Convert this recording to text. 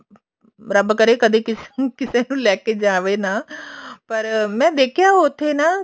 ਰੱਬ ਕਰੇ ਕਦੇ ਕਿਸੇ ਨੂੰ ਲੈਕੇ ਜਾਵੇ ਨਾ ਪਰ ਮੈਂ ਦੇਖਿਆ ਉੱਥੇ ਨਾ